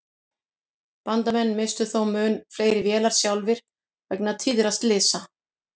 Bandamenn misstu þó mun fleiri vélar sjálfir vegna tíðra slysa.